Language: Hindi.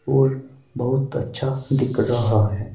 और बहुत अच्छा दिख रहा है।